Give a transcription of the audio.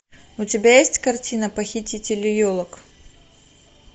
у тебя есть картина похитители елок